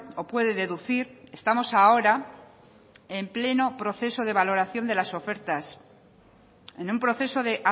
o puede deducir estamos ahora en pleno proceso de valoración de las ofertas en un proceso de